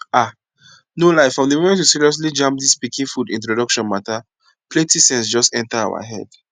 ah no lie from di moment we seriously jam dis pikin food introduction matter plenti sense just enter our head